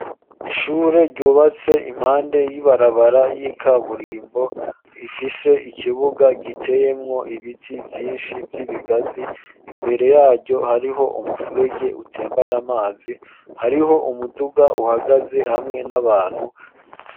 Ishure ryubatse impande y'ibarabara y'ikaburimbo ifise ikibuga giteyemwo ibiti byinshi by'ibigazi imbere yaryo hariho umufurege utembara amazi hariho umuduga uhagaze hamwe n'abantu.